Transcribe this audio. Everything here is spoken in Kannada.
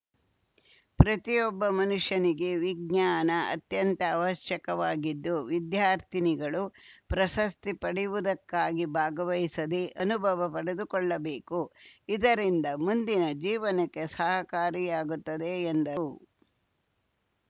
ಪ್ರತಿಯೊಬ್ಬ ಮನುಷ್ಯನಿಗೆ ವಿಜ್ಞಾನ ಅತ್ಯಂತ ಅವಶ್ಯಕವಾಗಿದ್ದು ವಿದ್ಯಾರ್ಥಿನಿಗಳು ಪ್ರಶಸ್ತಿ ಪಡೆಯುವುದಕ್ಕಾಗಿ ಭಾಗವಹಿಸದೇ ಅನುಭವ ಪಡೆದುಕೊಳ್ಳುಬೇಕು ಇದರಿಂದ ಮುಂದಿನ ಜೀವನಕ್ಕೆ ಸಹಕಾರಿಯಾಗುತ್ತದೆ ಎಂದರು